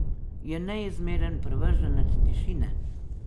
Je neizmeren privrženec tišine.